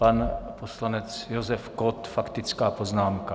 Pan poslanec Josef Kott, faktická poznámka.